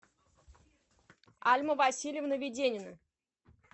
альма васильевна веденина